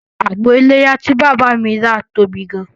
Àgbò iléyá tí bàbá mi rà tóbi gan